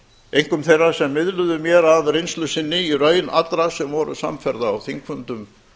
einkum þeirra sem miðluðu mér af reynslu sinni í raun allra sem voru samferða á þingfundum